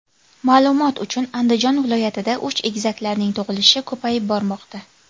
Ma’lumot uchun, Andijon viloyatida uch egizaklarning tug‘ilishi ko‘payib bormoqda .